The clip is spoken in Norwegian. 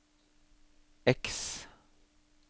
X